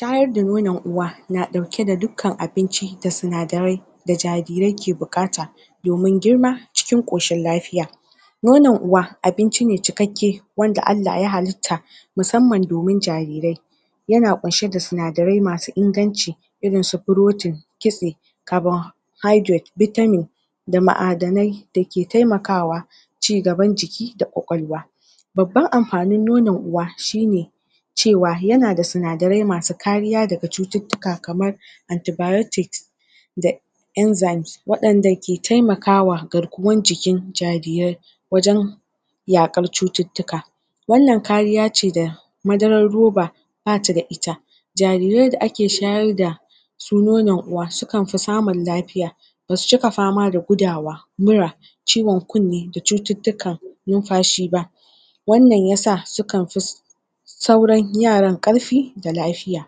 shayar da nonon uwa na ɗauke da dukkan abinci da sinadarai da jarirai ke buƙata domin girma cikin koshin lafiya nonon uwa abinci ne cikakke wanda Allah ya halitta musamman domin jarirai yana kunshe da sinadarai masu inganci irinsu protein kitse carbonhydarate vitamin da ma'adanai dake taimakawa cigaban jiki da ƙwaƙwalwa babban amfanin nonon uwa shine cewa yana da sinadarai masu kariya daga cututtuka kamar anti biotics da enzymes waɗanda ke taimakawa garkuwar jikin jarirai wajan yaƙar cututtuka wannan kariyace da madarar ruba bata da ita jarirai da ake shayar da nonon uwa sukanfi samun lafiya basu cika fama da gudawa mura ciwan kunne da cututtukan nunfashi ba wannna yasa sukan fi sauran yaran ƙarfi da lafiya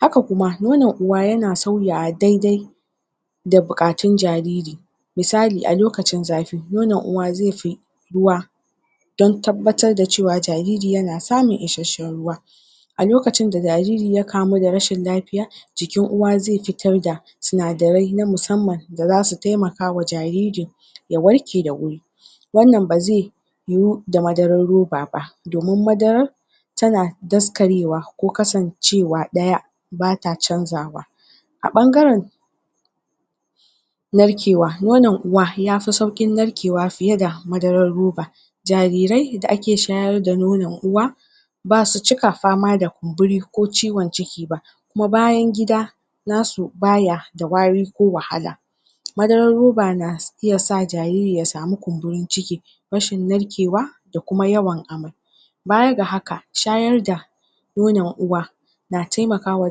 haka kuma nonon uwa yana sauyawa daidai da buƙatun jariri misali a lokacin zafi nonon uwa zaifi ruwa don tabbatar da cewa jariri yana samun ishasshan ruwa a lokacin da jariri ya kamu da rashin lafiya jikin uwa zai fitar da sinadarai na musamman da zasu taimakawa jariri ya warke da wuri wannan ba zai yu da madarar ruba ba domin madarar tana daskarewa ko kasance wa ɗaya bata canzawa a ɓangaran narkewa nonon uwa yafi sau ƙin narkewa fiye da madarar ruba jarirai da ake shayar da nonon uwa basu cika fama da kunburi ko ciwan ciki ba kuma bayan gida nasu baya da wari ko wahala madarar ruba na na iaya sa jariri ya same kunburin ciki rashin narkewa da kuma yawan amai baya ga haka shayar da nonon uwa na taimakawa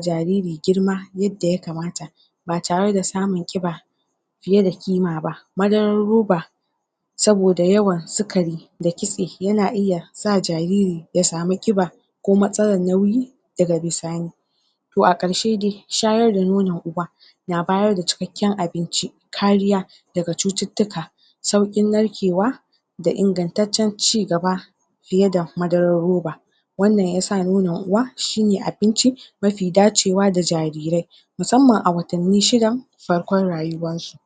jariri girma yadda ya kamata ba tare da samun ƙiba fiye da ƙima ba madarar ruba saboda yawan sikari da kitse yana iya sa jariri ya samu ƙiba ko matsalar nauyi daga bisani to a ƙarshe dai shayar da nonon uwa na bayar da cikakkan abinci kariya daga cututtuka sauƙin narkewa da ingantatcan cigaba fiye da madarar ruba wannan yasa nonon uwa shine abinci mafi dacewa da jarirai musamman a watanni shidan farkon rayuwansu